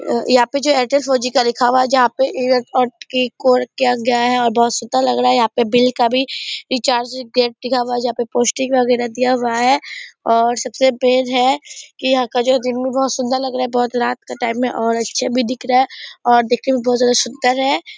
अ यहाँ पे जो एयरटेल फोर जी लिखा हुआ है जहाँ पे किया गया है और बहुत सुंदर लग रहा है यहाँ पे बिल का भी रिचार्ज गेट लिखा हुआ है जहाँ पे पोस्टिंग वगेरह दिया हुआ है और सबसे मेन है कि यहाँ का जिम भी बहुत सुंदर लग रहा है बहुत रात का टाइम में और अच्छा भी दिख रहा है और देखने में बहुत ज़्यादा सुदंर है ।